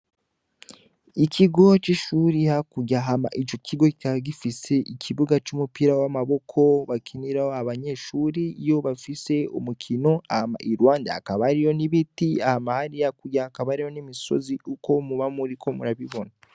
Ikigo cishure hakurya hama ico kigo kikaba gifise ikibuga cumupira wamaboko bakiniraho abanyeshure iyo bafise umukino hama iruhande hakaba hariho n'ibiti hama hariya hakurya hakaba hariyo n'imisozi nkuko mwoba muriko murabibona.